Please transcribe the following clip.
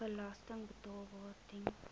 belasting betaalbaar ten